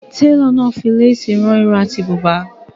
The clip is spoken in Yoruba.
Télọ̀ ma fi lésì rán ìró àti bùbà.